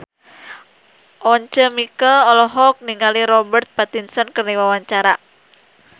Once Mekel olohok ningali Robert Pattinson keur diwawancara